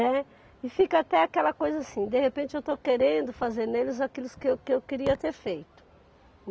Né. E fica até aquela coisa assim, de repente eu estou querendo fazer neles aquilos que que eu queria ter feito.